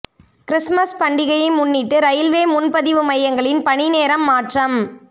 Christmas பண்டிகையை முன்னிட்டு railway முன்பதிவு மையங்களில் பணி நேரம் மாற்றம்